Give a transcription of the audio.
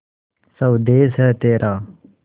स्वदेस है तेरा